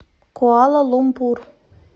куала лумпур